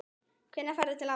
Hvenær ferðu til afa þíns?